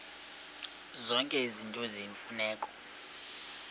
zonke izinto eziyimfuneko